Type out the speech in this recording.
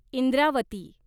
Indravati